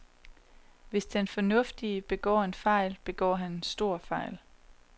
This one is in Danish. Hvis den fornuftige begår en fejl, begår han en stor fejl.